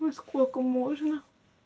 ну сколько можно